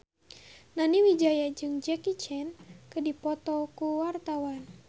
Nani Wijaya jeung Jackie Chan keur dipoto ku wartawan